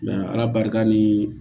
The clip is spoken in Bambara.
ala barika ni